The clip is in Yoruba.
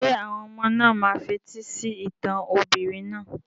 Ṣé àwọn ọmọ náà máa fetí sí ìtàn obìnrin náà?